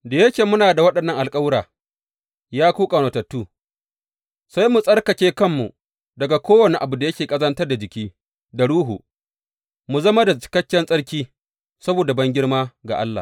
Da yake muna da waɗannan alkawura, ya ku ƙaunatattu, sai mu tsarkake kanmu daga kowane abu da yake ƙazantar da jiki, da ruhu, mu zama da cikakken tsarki, saboda bangirma ga Allah.